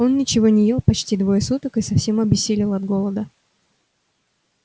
он ничего не ел почти двое суток и совсем обессилел от голода